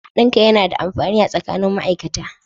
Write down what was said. Hadin kai na da amfani tsakanin ma'aikata